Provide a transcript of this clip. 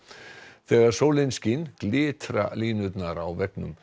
þegar sólin skín glitra línurnar á veggnum